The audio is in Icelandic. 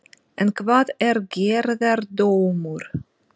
En hvað er gerðardómur?